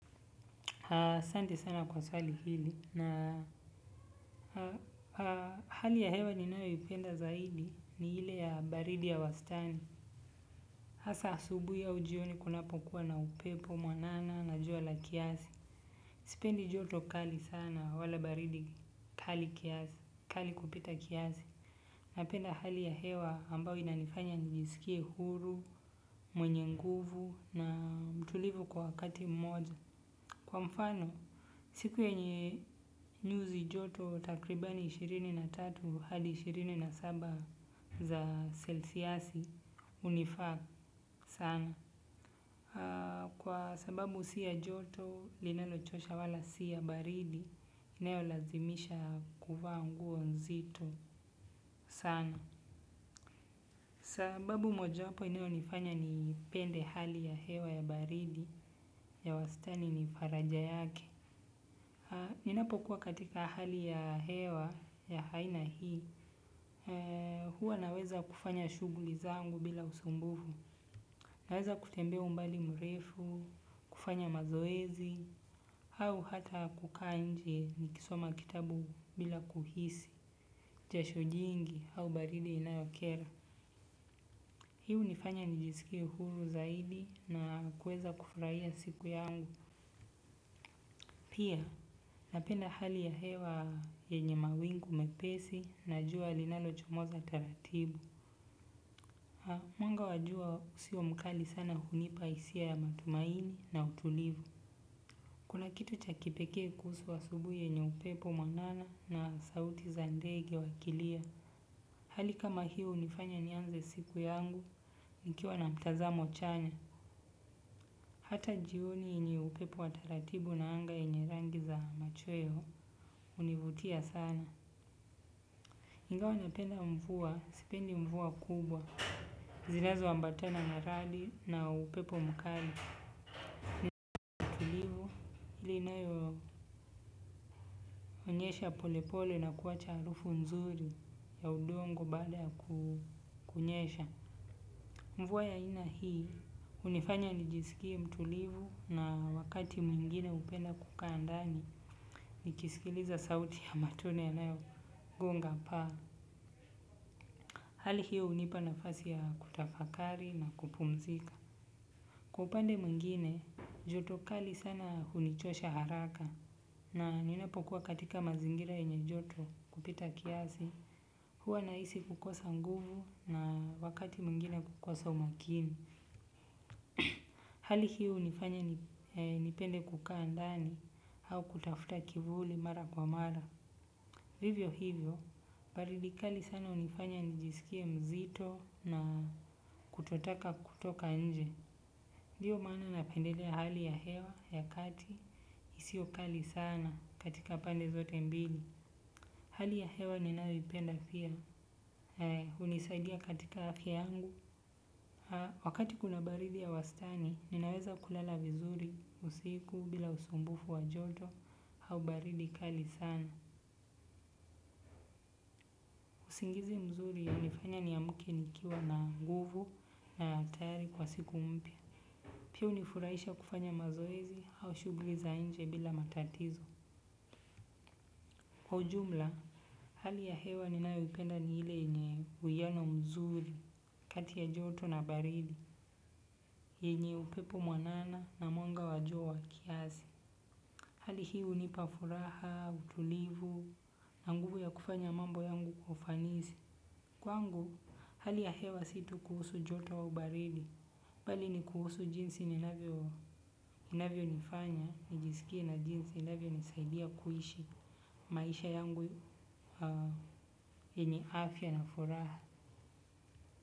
Asante sana kwa swali hili na hali ya hewa ninayoipenda zaidi ni ile ya baridi ya wastani. Hasa asubuhi au jioni kunapokuwa na upepo, mwanana na jua la kiasi. Sipendi joto kali sana wala baridi kali kiasi, kali kupita kiasi. Napenda hali ya hewa ambayo inanifanya nijisikie huru, mwenye nguvu na mtulivu kwa wakati mmoja. Kwa mfano, siku yenye nyuzi joto takribani ishirini na tatu hadi ishirini na saba za selshiasi hunifaa sana. Kwa sababu si ya joto, linalochosha wala si ya baridi, inayolazimisha kuva nguo nzito sana. Sababu mojawapo inayonifanya nipende hali ya hewa ya baridi ya wastani ni faraja yake. Ninapokuwa katika hali ya hewa ya aina hii, huwa naweza kufanya shughuli zangu bila usumbufu, naweza kutembea umbali mrefu, kufanya mazoezi, au hata kukaa nje nikisoma kitabu bila kuhisi jasho jingi, au baridi inayokera. Hii hunifanya nijisikie huru zaidi na kuweza kufurahia siku yangu. Pia, napenda hali ya hewa yenye mawingu mepesi na jua linalochomoza taratibu. Mwanga wa jua usio mkali sana hunipa hisia ya matumaini na utulivi kuna kitu cha kipekee kuhusu asubuhi yenye upepo mwanana na sauti za ndege wakilia. Hali kama hii hunifanya nianze siku yangu, nikiwa na mtazamo chanya. Hata jioni yenye upepo wa taratibu na anga yenye rangi za machweo hunivutia sana. Ingawa napenda mvua, sipendi mvua kubwa. Zinazoambatana na radi na upepo mkali. Ile inayoonyesha polepole na kuacha harufu nzuri ya udongo baada ya kunyesha. Mvua ya aina hii hunifanya nijisikie mtulivu na wakati mwingine hupenda kukaa ndani. Nikisikiliza sauti ya matone yanayogonga paa hali hiyo hunipa nafasi ya kutafakari na kupumzika. Kwa upande mwingine, joto kali sana hunichosha haraka. Na ninapokuwa katika mazingira yenye joto kupita kiasi huwa nahisi kukosa nguvu na wakati mwingine kukosa umakini. Hali hii hunifanya nipende kukaa ndani au kutafuta kivuli mara kwa mara. Hivyo hivyo, baridi kali sana hunifanya nijisikie mzito na kutotaka kutoka nje. Ndio maana napendelea hali ya hewa, ya kati, isio kali sana katika pande zote mbili. Hali ya hewa ninayoipenda pia, hunisadia katika afya yangu. Wakati kuna baridi ya wastani, ninaweza kulala vizuri, usiku, bila usumbufu wa joto au baridi kali sana. Usingizi mzuri hunifanya ni amke nikiwa na nguvu na tayari kwa siku mpya. Pia hunifurahisha kufanya mazoezi au shughuli za nje bila matatizo. Kwa ujumla, hali ya hewa ninayoipenda ni ile yenye uiano mzuri kati ya joto na baridi. Yenye upepo mwanana na mwanga wa jua kiasi. Hali hii hunipa furaha, utulivu na nguvu ya kufanya mambo yangu kwa ufanisi. Kwangu hali ya hewa si tu kuhusu joto au baridi bali ni kuhusu jinsi inavyonifanya nijisikie na jinsi inavyonisaidia kuishi maisha yangu yenye afya na furaha.